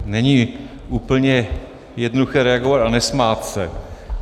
Není úplně jednoduché reagovat a nesmát se.